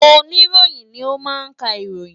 Oníròyìn ni ó máa ń ka ìròyìn